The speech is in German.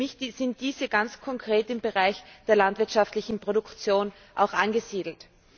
Für mich sind diese ganz konkret im Bereich der landwirtschaftlichen Produktion angesiedelt.